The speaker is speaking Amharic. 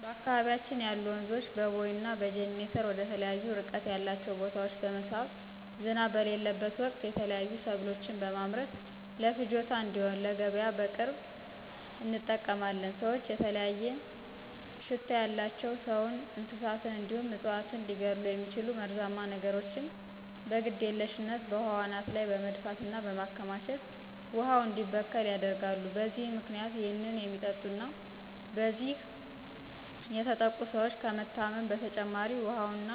በአካባቢያችን ያሉ ወንዞችን በቦይ እና በጅኒተር ወደተለያዩ እርቀት ያላቸው ቦታወች በመሳብ ዝናብ በሌለበት ወቅት የተለያዩ ሰብሎችን በመምረት ለፍጆታ እንድሆን ለገቢያ በቅርብ እንጠቀማለን። ሰወች የተለያየ ሽታ ያላቸው ሰውን፣ እንስሳትን እንዲሁም እፅዋትን ሊገድሉ የሚችሉ መርዛማ ነገሮችን በግድየልሽነት በውሃው አናት ላይ በመድፋት እና በማከማቸት ውሃው እንዲበከል ያደርጋሉ። በዚህም ምክንያት ይህን የሚጠጡ እና በዚህ የትጥቅ ሰወች ከመታመም በተጨማሪ ውሀውና